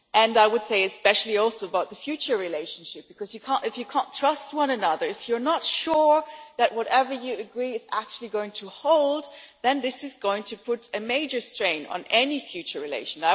I would also say this especially concerns the future relationship, because you cannot trust one another if you are not sure that whatever you agree is actually going to hold, so this is going to put a major strain on any future relations.